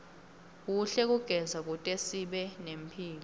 kuhle kugeza kutesibe nemphilo